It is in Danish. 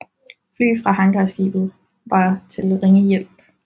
Fly fra hangarskibet var til ringe hjælp